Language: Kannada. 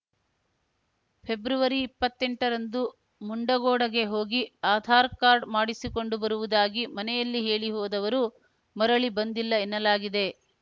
ಫೆಬ್ರವರಿ ಇಪ್ಪತ್ತೆಂಟ ರಂದು ಮುಂಡಗೋಡ ಗೆ ಹೋಗಿ ಆಧಾರ ಕಾರ್ಡ ಮಾಡಿಸಿಕೊಂಡು ಬರುವುದಾಗಿ ಮನೆಯಲ್ಲಿ ಹೇಳಿ ಹೋದವರು ಮರಳಿ ಬಂದಿಲ್ಲ ಎನ್ನಲಾಗಿದೆ